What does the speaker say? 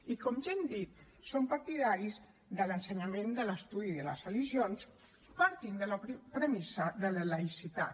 i com ja hem dit som partidaris de l’ensenyament de l’estudi de les religions partint de la premissa de la laïcitat